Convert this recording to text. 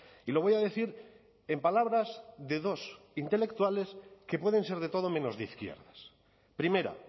y lo voy a decir en palabras de dos intelectuales que pueden ser de todo menos de izquierdas primera